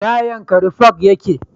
ina jankari park yake